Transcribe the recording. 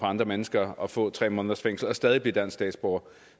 andre mennesker og få tre måneders fængsel og stadig blive dansk statsborger